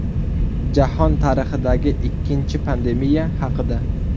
Jahon tarixidagi ikkinchi pandemiya haqida.